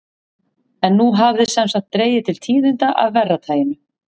En nú hafði sem sagt dregið til tíðinda af verra taginu.